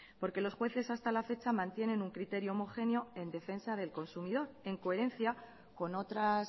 porque los jueces hasta la fecha mantienen un criterio homogéneo en defensa del consumidor en coherencia con otras